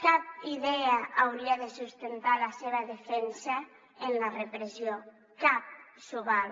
cap idea hauria de sustentar la seva defensa en la repressió cap s’ho val